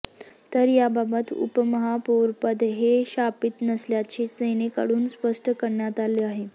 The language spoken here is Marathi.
तर याबाबत उपमहापौरपद हे शापित नसल्याचे सेनेकडून स्पष्ट करण्यात आलं आहे